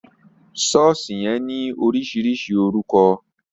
Sọ̀ọ́sì yẹn ní oríṣiríṣi orúkọ